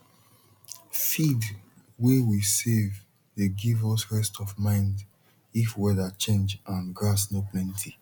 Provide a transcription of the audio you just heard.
feed way we save dey give us rest of mind if weather change and grass no plenty